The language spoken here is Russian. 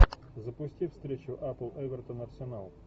запусти встречу апл эвертон арсенал